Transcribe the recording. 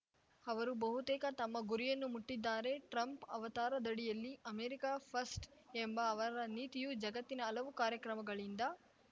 ಅವರು ಬಹುತೇಕ ತಮ್ಮ ಗುರಿಯನ್ನು ಮುಟ್ಟಿದ್ದಾರೆ ಟ್ರಂಪ್‌ ಅವತಾರದಡಿಯಲ್ಲಿ ಅಮೆರಿಕ ಫಸ್ಟ್‌ ಎಂಬ ಅವರ ನೀತಿಯು ಜಗತ್ತಿನ ಹಲವು ಕಾರ್ಯಕ್ರಮಗಳಿಂದ